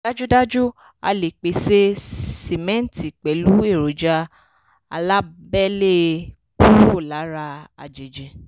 dájúdájú a lè pèsè símẹ́ǹtì pẹ̀lú èròjà alábẹ́lé kúrò lára àjèjì.